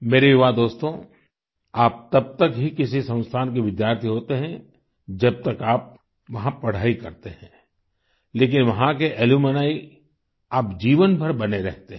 मेरे युवा दोस्तो आप तब तक ही किसी संस्थान के विद्यार्थी होते हैं जब तक आप वहाँ पढाई करते हैं लेकिन वहाँ के अलुम्नी आप जीवनभर बने रहते हैं